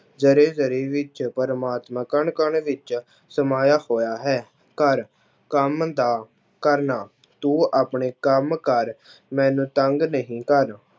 ਜ਼ਰੇ ਜ਼ਰੇ ਵਿੱਚ ਪ੍ਰਮਾਤਮਾ ਕਣ ਕਣ ਵਿੱਚ ਸਮਾਇਆ ਹੋਇਆ ਹੈ, ਘਰ ਕੰਮ ਦਾ ਕਰਨਾ, ਤੂੰ ਆਪਣੇ ਕੰਮ ਕਰ ਮੈਨੂੰ ਤੰਗ ਨਹੀਂ ਕਰ।